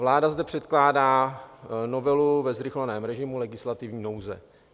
Vláda zde předkládá novelu ve zrychleném režimu legislativní nouze.